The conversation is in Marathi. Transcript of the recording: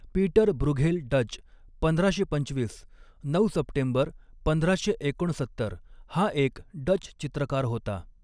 पीटर ब्रूघेल डच पंधराशे पंचवीस नऊ सप्टेंबर पंधराशे एकोणसत्तर हा एक डच चित्रकार होता.